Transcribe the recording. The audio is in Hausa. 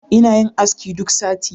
Ina yin aski duk sati